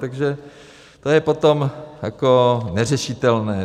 Takže to je potom jako neřešitelné.